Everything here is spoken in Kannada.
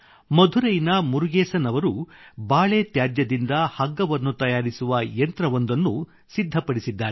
ಮಧುರೈನ ಮುರುಗೇಸನ್ ಅವರು ಬಾಳೆ ತ್ಯಾಜ್ಯದಿಂದ ಹಗ್ಗವನ್ನು ತಯಾರಿಸುವ ಯಂತ್ರವೊಂದನ್ನು ಸಿದ್ಧಪಡಿಸಿದ್ದಾರೆ